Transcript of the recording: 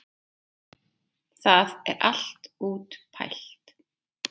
Það er allt útpælt.